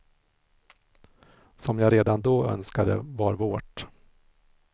Som jag redan då önskade var vårt.